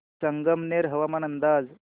संगमनेर हवामान अंदाज